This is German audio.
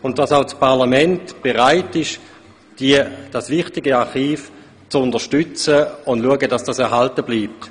Auch das Parlament ist bereit, dieses wichtige Archiv zu unterstützen und dafür zu sorgen, dass es erhalten bleibt.